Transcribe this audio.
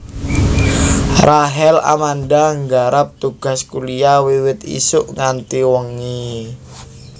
Rachel Amanda nggarap tugas kuliah wiwit isuk nganti wengi